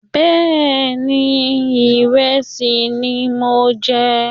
Bẹ́ẹ̀ni, ìrẹsì ni mò ń jẹ